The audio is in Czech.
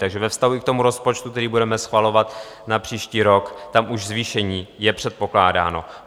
Takže ve vztahu i k tomu rozpočtu, který budeme schvalovat na příští rok, tam už zvýšení je předpokládáno.